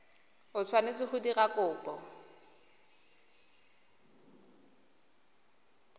o tshwanetse go dira kopo